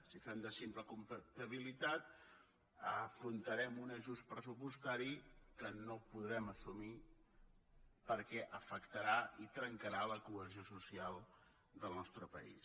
si fem de simple comptabilitat afrontarem un ajust pressupostari que no podrem assumir perquè afectarà i trencarà la cohesió social del nostre país